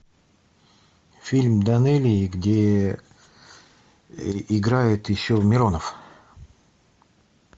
фильм данелии где играет еще миронов